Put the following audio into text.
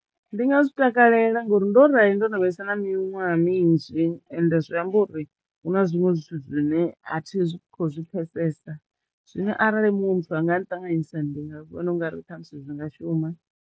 Ndi nga zwi takalela ngori ndo rali ndo no vhesa na miṅwaha minzhi ende zwi amba uri hu na zwiṅwe zwithu zwine a thi khou zwi pfesesa zwino arali munwe muthu anga nṱanganisa ndi nga vhona ungari ṱhamusi zwi nga shuma.